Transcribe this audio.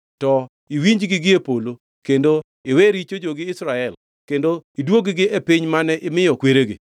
to iwinjgi gi e polo kendo iwe richo jogi Israel kendo iduog-gi e piny mane imiyo kweregi.